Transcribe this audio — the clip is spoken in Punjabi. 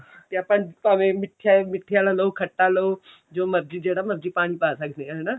ਤੇ ਆਪਾਂ ਭਾਵੇਂ ਮਿੱਠੇ ਮਿੱਠੇ ਵਾਲਾ ਲਓ ਖੱਟਾ ਲਓ ਜੋ ਮਰਜੀ ਜਿਹੜਾ ਮਰਜੀ ਪਾਣੀ ਪਾ ਸਕਦੇ ਹਾਂ ਹਨਾ